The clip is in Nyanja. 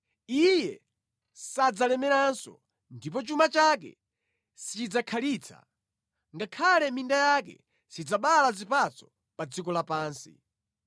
Iye sadzalemeranso ndipo chuma chake sichidzakhalitsa, ngakhale minda yake sidzabala zipatso pa dziko lapansi.